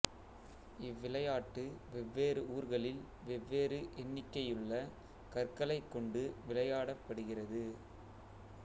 இவ்விளையாட்டு வெவ்வேறு ஊர்களில் வெவ்வேறு எண்ணிக்கையுள்ள கற்களைக் கொண்டு விளையாடப்படுகிறது